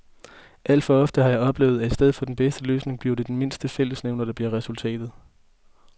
Alt for ofte har jeg oplevet, at i stedet for den bedste løsning bliver det den mindste fællesnævner, der bliver resultatet.